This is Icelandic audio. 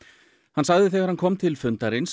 hann sagði þegar hann kom til fundarins